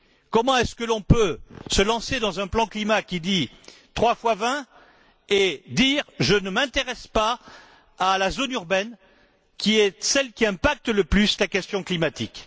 Comment est ce que l'on peut se lancer dans un plan climat qui dit trois fois vingt et dire je ne m'intéresse pas à la zone urbaine qui est celle qui influe le plus sur la question climatique?